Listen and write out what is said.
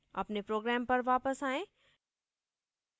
अपने program पर वापस आएँ